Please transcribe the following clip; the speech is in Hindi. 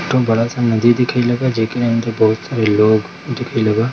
एक ठो बड़ा सा नदी दिखेल जेके अंदर बहुत सारे लोग दिखेल बा।